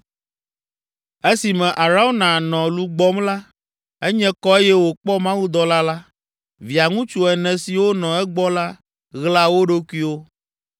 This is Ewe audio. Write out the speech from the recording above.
Esime Arauna nɔ lu gbɔm la, enye kɔ eye wòkpɔ mawudɔla la; Via ŋutsu ene siwo nɔ egbɔ la, ɣla wo ɖokuiwo.